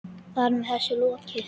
Þar með var þessu lokið.